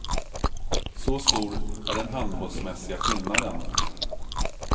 Så stor är den handbollsmässiga skillnaden.